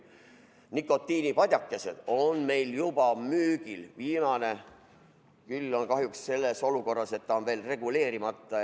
Nikotiinipadjakesed on meil juba müügil, viimane küll on kahjuks selles olukorras, et see on veel reguleerimata.